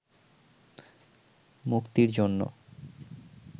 মুক্তির জন্য